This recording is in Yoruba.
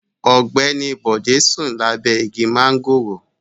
Ogbeni Bode sun labe igi mangoro